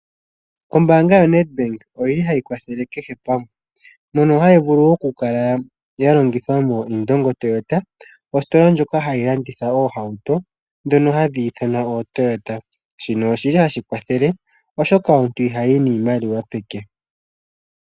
Ombaanga yo NEDBank oyili hayi kwathele kehe pamwe. Mono hayi vulu oku kala ya longithwa mo Indongo Toyota . Ositola ndjoka hayi landitha oohauto ndhono hadhi ithanwa ooToyota. Shino oshili hashi kwathele oshoka omuntu ihayi niimaliwa peke.